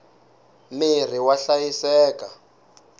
mirhi wa hlayiseka